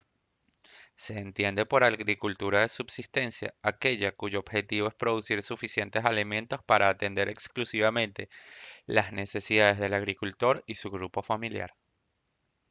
se entiende por agricultura de subsistencia aquella cuyo objetivo es producir suficientes alimentos para atender exclusivamente las necesidades del agricultor y su grupo familiar